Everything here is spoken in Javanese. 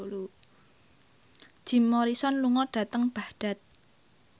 Jim Morrison lunga dhateng Baghdad